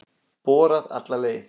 Borað alla leið